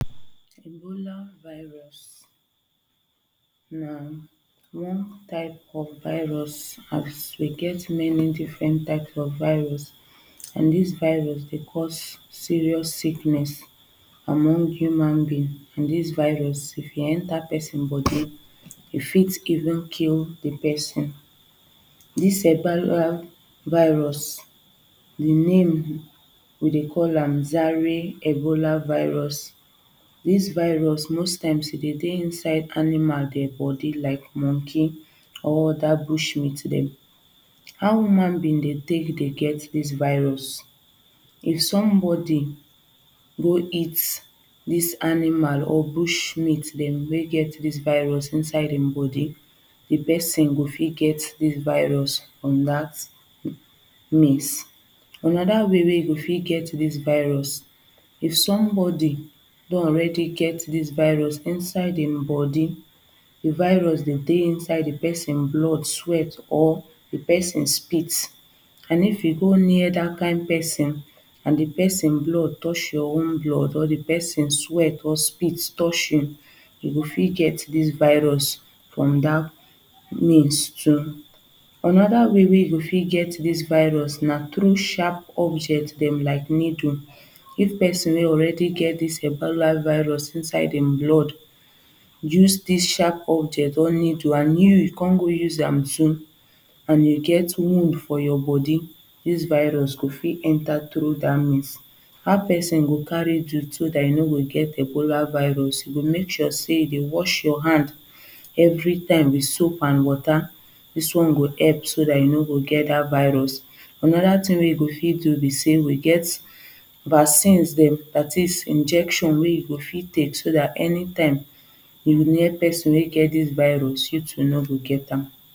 Ebola virus na one type of virus as we get many different type of virus and this virus dey cause serious sickness among human being. This virus if e enter person body e fit even kill the person this um viral virus the name we dey call am Zari Ebola virus. This virus most times e dey dey inside animal dead body like monkey or other bush meat them. How human being dey take dey get this virus? If some body go eat this animal or bush meat dem wey get this virus inside dem body the person go fit get this virus from that means another way wey you go fit get this virus if somebody don already get this virus inside him body the virus dem dey inside the person blood sweat or the pesin spit and if you go near that kind person and the person blood touch your own blood or the person sweat or spit touch you, you go fit get this virus from that means too. Another way wey you go fit get this virus na through sharp objects dem like needle if pesin don already get this ebola virus inside him blood use this sharp object or needle and you come go use am too and you get wound for your body, this virus this virus go fit enter through that means. How person Go carry do so that you no go get ebola virus you go make sure say you dey wash your hand every time with soap and water this one go help so that you no go get that virus another thing wey you go fit do be say we get vaccines dem that is injection wey you go fit take so that anytime you near person wey get this virus you too no go get am